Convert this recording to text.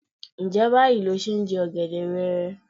Ǹjẹ́ báyìí lo ṣe ń jẹ ọ̀gẹ̀dẹ̀ wẹẹrẹ?